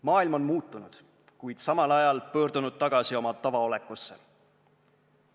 Maailm on muutunud, kuid samal ajal pöördunud tagasi oma tavaolekusse.